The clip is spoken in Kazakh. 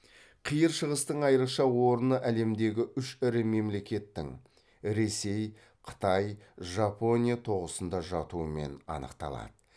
қиыр шығыстың айрықша орны әлемдегі үш ірі мемлекеттің ресей қытай жапония тоғысында жатуымен анықталады